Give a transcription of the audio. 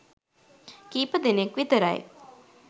කීපදෙනෙක් විතරයි.